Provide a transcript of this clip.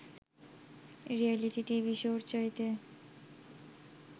reality TV শোর চাইতে